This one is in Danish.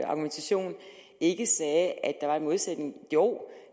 argumentation ikke sagde at der var en modsætning jo